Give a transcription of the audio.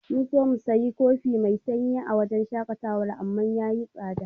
Mun so mu sayi kofi mai sanyi a wajen shaƙatawar amma yayi tsada.